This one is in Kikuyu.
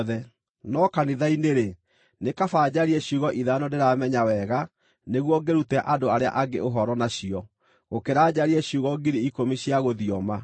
No kanitha-inĩ-rĩ, nĩ kaba njarie ciugo ithano ndĩramenya wega nĩguo ngĩrute andũ arĩa angĩ ũhoro nacio, gũkĩra njarie ciugo ngiri ikũmi cia gũthioma.